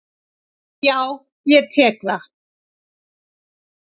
Jú, ég tek það.